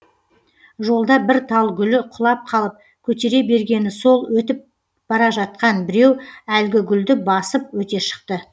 жолда бір тал гүлі құлап қалып көтере бергені сол өтіп бара жатқан біреу әлгі гүлді басып өте шықты